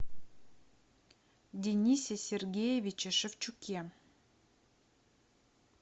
денисе сергеевиче шевчуке